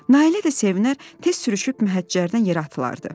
Nailə də sevinər, tez sürüşüb məhəccərdən yerə atılardılar.